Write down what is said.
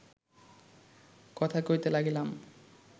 কথা কহিতে লাগিলাম